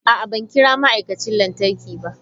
A'a, ban kira ma'aikacin lantarki ba.